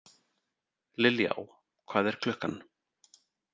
Liljá, hvað er klukkan?